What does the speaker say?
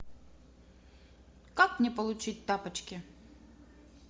как мне получить тапочки